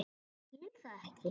Ég skil það ekki.